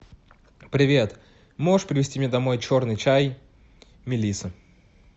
привет можешь привезти мне домой черный чай мелисса